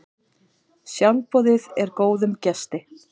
Sjálfboðið er góðum gesti.